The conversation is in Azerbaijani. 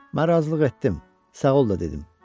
Mən razılıq etdim, sağ ol da dedim.